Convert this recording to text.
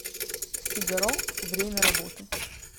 фигаро время работы